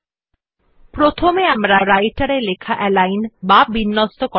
যেহেতু আমরা শেষ টিউটোরিয়াল এ resumeওডিটি নামের ফাইল তৈরী করেছিলাম তাই আমরা সেই ফাইলটিই খুলছি